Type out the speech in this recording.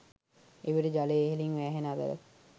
එවිට ජලය ඉහළින් වෑහෙන අතර